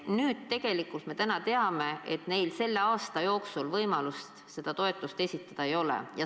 Nüüd me teame, et neil selle aasta jooksul võimalust seda taotlust esitada ei ole.